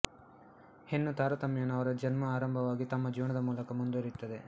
ಹೆಣ್ಣು ತಾರತಮ್ಯವನ್ನು ಅವರ ಜನ್ಮ ಆರಂಭವಾಗಿ ತಮ್ಮ ಜೀವನದ ಮೂಲಕ ಮುಂದುವರಿಯುತ್ತದೆ